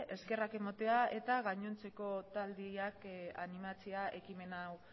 eskerrak ematea eta gainontzeko taldeak animatzea ekimen hau